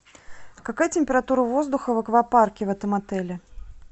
какая температура воздуха в аквапарке в этом отеле